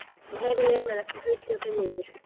Steinn, heyrðu í mér eftir fjörutíu og fimm mínútur.